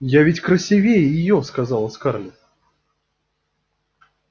я ведь красивее её сказала скарлетт